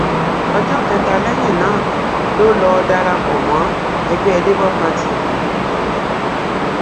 ọjọ kẹta lẹyìn náà ló lọọ darapọ mọ ẹgbẹ labour party yìí